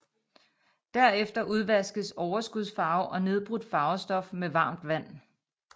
Derefter udvaskes overskudsfarve og nedbrudt farvestof med varmt vand